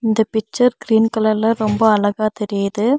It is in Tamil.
இந்த பிச்சர் கிரீன் கலர்ல ரொம்ப அழகா தெரியிது.